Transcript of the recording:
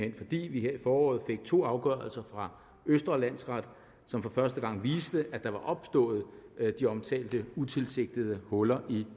er fordi vi her i foråret fik to afgørelser fra østre landsret som for første gang viste at der var opstået de omtalte utilsigtede huller i